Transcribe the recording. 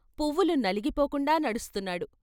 పువ్వులు నలిగిపోకుండా నడుస్తున్నాడు.